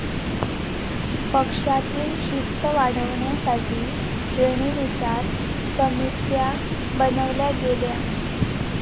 पक्षातील शिस्त वाढवण्यासाठी श्रेणीनुसार समित्या बनवल्या गेल्या.